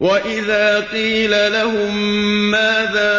وَإِذَا قِيلَ لَهُم مَّاذَا